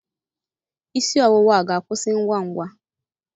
Isi ọwụwa a ga-akwụsị ngwa ngwa?